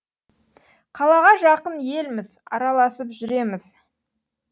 қалаға жақын елміз араласып жүреміз